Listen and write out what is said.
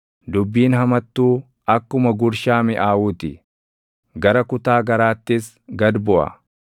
Dubbiin hamattuu akkuma gurshaa miʼaawuu ti; gara kutaa garaattis gad buʼa.